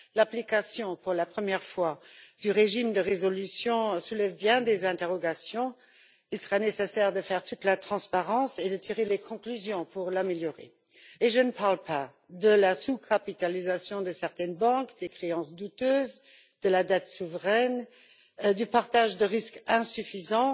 La première application du régime de résolution soulève bien des interrogations. Il sera nécessaire de faire toute la transparence et de tirer les conclusions pour l'améliorer. Et je ne parle pas de la sous capitalisation de certaines banques, des créances douteuses, de la dette souveraine, du partage de risques insuffisant